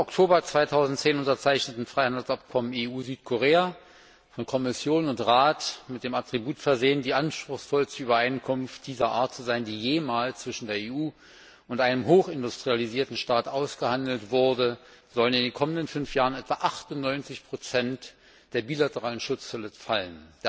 Mit dem im Oktober 2010 unterzeichneten Freihandelsabkommen EU Südkorea, von Kommission und Rat mit dem Attribut versehen, die anspruchsvollste Übereinkunft dieser Art zu sein, die jemals zwischen der EU und einem hochindustrialisierten Staat ausgehandelt wurde, sollen in den kommenden fünf Jahren etwa 98 der bilateralen Schutzzölle fallen.